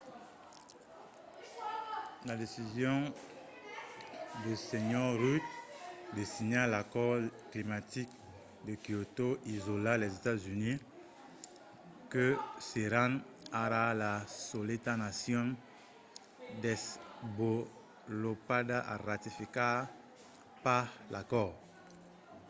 la decision de sr. rudd de signar l'acòrd climatic de kyoto isòla los estats units que seràn ara la soleta nacion desvolopada a ratificar pas l'acòrd